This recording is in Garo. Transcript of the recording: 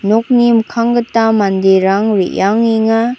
nokni mikkang gita manderang re·angenga.